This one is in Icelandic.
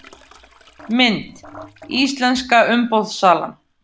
Mynd: Íslenska umboðssalan